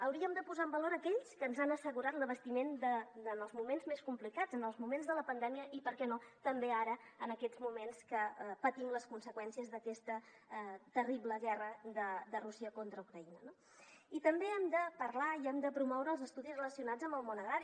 hauríem de posar en valor aquells que ens han assegurat l’abastiment en els moments més complicats en els moments de la pandèmia i per què no també ara en aquests moments que patim les conseqüències d’aquesta terrible guerra de rússia contra ucraïna no i també hem de parlar i hem de promoure els estudis relacionats amb el món agrari